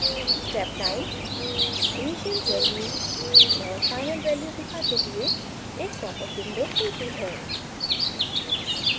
step time initial value और final value दिखाते हुए एक पॉपअप विंडो खुलती है